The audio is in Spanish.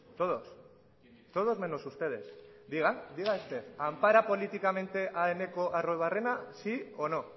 todos todos menos ustedes diga diga ampara políticamente a eneko arruabarrena sí o no